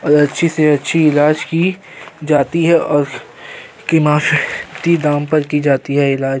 और अच्छी से अच्छी इलाज की जाती है और किमायती दाम पर की जाती है इलाज।